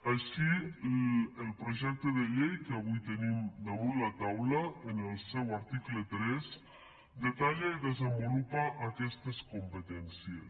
així el projecte de llei que avui tenim damunt la taula en el seu article tres detalla i desenvolupa aquestes competències